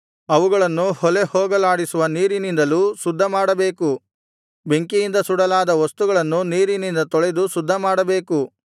ಅವುಗಳನ್ನು ಹೊಲೆ ಹೋಗಲಾಡಿಸುವ ನೀರಿನಿಂದಲೂ ಶುದ್ಧಮಾಡಬೇಕು ಬೆಂಕಿಯಿಂದ ಸುಡಲಾರದ ವಸ್ತುಗಳನ್ನು ನೀರಿನಿಂದ ತೊಳೆದು ಶುದ್ಧಮಾಡಬೇಕು